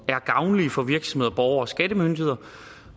er gavnlige for virksomheder borgere og skattemyndigheder